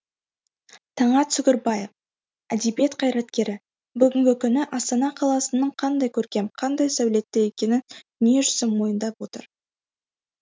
таңат сүгірбаев әдебиет қайраткері бүгінгі күні астана қаласының қандай көркем қандай сәулетті екенін дүниежүзі мойындап отыр